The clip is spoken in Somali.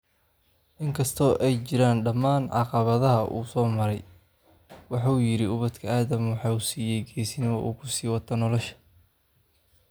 in kasta oo ay jiraan dhammaan caqabadaha uu soo maray, waxa uu yidhi ubadka Aadam waxa uu siiyay geesinnimo uu ku sii wato nolosha.